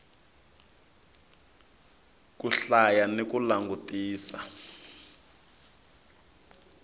ku hlaya ni ku langutisa